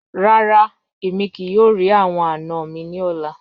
Rara, emi kii yoo ri awọn ana mi ni ọla